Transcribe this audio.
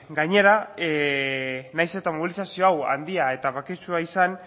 gainera nahiz eta mobilizazio hau handia eta baketsua izan